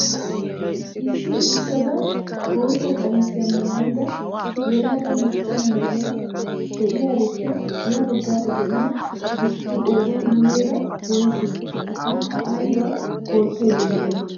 Issi uttada bootta qamisiyaa maayida yelaga macca na'iyaa de'iyaarippe ya baggaara de'iyaa asatu qooday muleera woysee? akka aybaa oottayda de'ay?